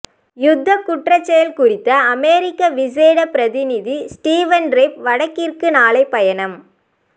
யுத்தக் குற்றச் செயல் குறித்த அமெரிக்க விசேட பிரதிநிதி ஸ்டீவன் ரெப் வடக்கிற்கு நாளை பயணம்